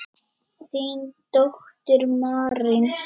Þín dóttir, Marín.